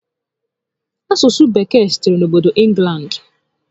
Asụsụ Bekee sitere n'obodo Ịnglandị